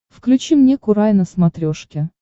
включи мне курай на смотрешке